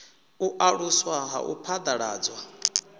u aluswa ha u phaḓaladzwa